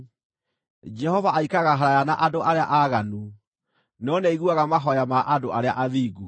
Jehova aikaraga haraaya na andũ arĩa aaganu, no nĩaiguaga mahooya ma andũ arĩa athingu.